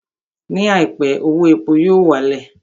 Ní àìpé, owó epo yóò wá lẹ̀